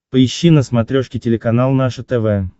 поищи на смотрешке телеканал наше тв